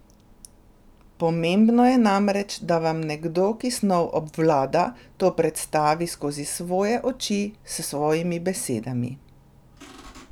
Pomembno je namreč, da vam nekdo, ki snov obvlada, to predstavi skozi svoje oči, s svojimi besedami.